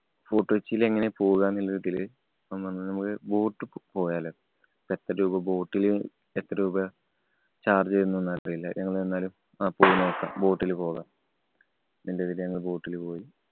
Fort കൊച്ചിയില് എങ്ങനാ പോവാ എന്നതില് ഓന്‍ പറഞ്ഞു മ്മക്ക് boat ക്ക് പോയാലോ. എത്ര രൂപ boat ല്, എത്രരൂപ charge വരുംന്നൊന്നും അറിയില്ല. ഞങ്ങള് എന്നാലും ആ പോയിനോക്കാം. boat ല് പോകാം. ന്നതില് ഞങ്ങള് boat ല് പോയി.